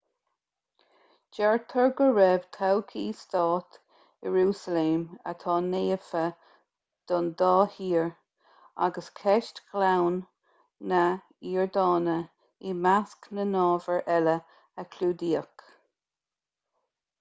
deirtear go raibh todhchaí stáit iarúsailéim atá naofa don dá thír agus ceist ghleann na hiordáine i measc na n-ábhar eile a clúdaíodh